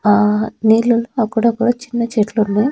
ఆ నీళ్ళు అక్కడక్కడ చిన్న చెట్లున్నాయ్.